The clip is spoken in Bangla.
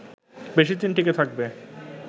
বেশিদিন টিকে থাকবে